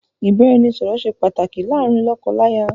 Ìbáraẹnisọ̀rọ̀ ṣe pàtàkì láàárín lọ́kọ láya